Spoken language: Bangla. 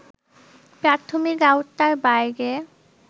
প্রাথমিক আওতার বাইরে